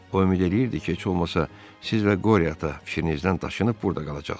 O ümid eləyirdi ki, heç olmasa siz və qore ata fikrinizdən daşınıb burda qalacaqsız.